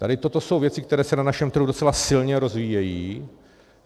Tady toto jsou věci, které se na našem trhu docela silně rozvíjejí.